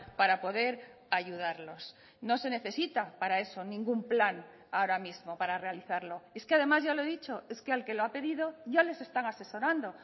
para poder ayudarlos no se necesita para eso ningún plan ahora mismo para realizarlo es que además ya lo he dicho es que al que lo ha pedido ya les están asesorando